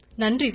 நன்றி சார்